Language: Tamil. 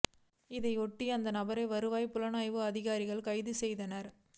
இதையொட்டி அந்த நபரை வருவாய் புலனாய்வு அதிகாரிகள் கைது செய் தனர்